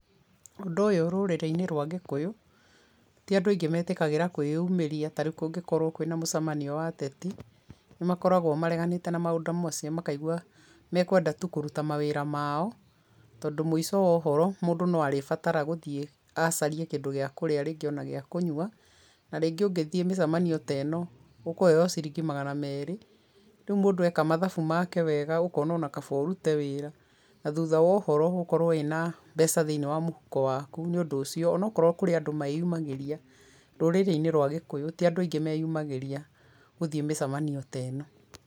Ũndũ ũyũ rũrĩrĩinĩ rwa gĩkũyũ tĩ andũ aingĩ matĩkagĩra kũĩyumĩria tarĩu kũngĩkorwo kwĩna mũcemanio wa ateti makoragwo mareganĩte na maũndũ macio makigua mekwenda tu mawĩra mao tondũ mũico wa ũhoro mũndũ no arabatara gũthiĩ acarie kĩndũ gĩa kũrĩa rĩngĩ ona gĩa kũnywa na rĩngĩ ũngĩthii mĩcemanio ta ĩno ũkũheo ciringi magana meri, rĩu mũndũ eka mathabu make wega ũkona kaba ũrũte wĩra na thutha wa ũhoro ũgũkorwo wĩna mbeca thĩinĩ wa mũhuko waku nĩ ũndũ ũcio kũrĩ andũ meũmagĩrĩa rũrĩinĩ rwa gĩkũyũ tĩ andũ aingĩ meũmagĩria gũthiĩ mecemanio ta ĩno